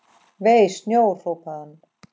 Vei, snjór hrópaði hann.